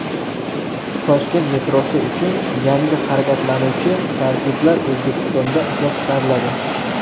Toshkent metrosi uchun yangi harakatlanuvchi tarkiblar O‘zbekistonda ishlab chiqariladi.